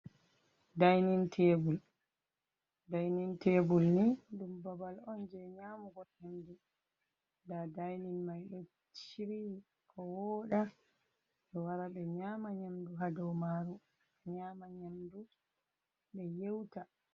Dainin tebul, dainin tebul ni ɗum babal on je nyamu go nyamdu, nda dainin mai ɗo shiriyi ko woɗa ɓe wara ɓe nyama nyamdu hadow maru a nyama nyamdu ɓe yeuta.